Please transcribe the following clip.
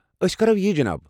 أسۍ كرو یی جناب۔